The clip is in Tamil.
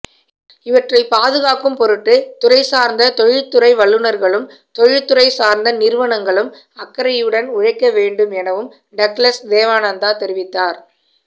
இவற்றைப் பாதுகாக்கும் பொருட்டு துறைசார்ந்த தொழில்துறை வல்லுநர்களும் தொழிற்றுறைசார்ந்த நிறுவனங்களும் அக்கறையுடன் உழைக்கவேண்டும் எனவும் டக்ளஸ் தேவானந்தா தெரிவித்தார்